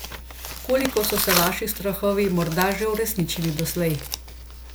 Koliko so se vaši strahovi morda že uresničili doslej?